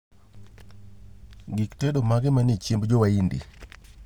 gik tedo mage manie chiembo jowaindi